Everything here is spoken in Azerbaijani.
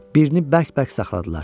Birini bərk-bərk saxladılar.